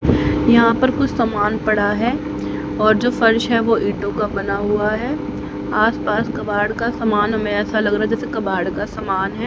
यहां पर कुछ समान पड़ा है और जो फर्श है वो ईटों का बना हुआ है आसपास कबाड़ का समान हमें ऐसा लग रहा है जैसे कबाड़ का समान है।